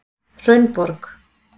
Hraunborg